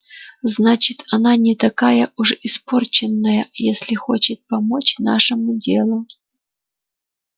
значит она не такая уж испорченная если хочет помочь нашему делу